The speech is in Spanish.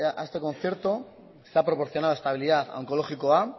a este concierto se ha proporcionado estabilidad a onkologikoa